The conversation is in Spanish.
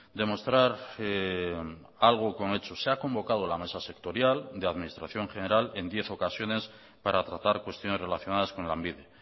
demostrar algo con hechos se ha convocado la mesa sectorial de administración general en diez ocasiones para tratar cuestiones relacionadas con lanbide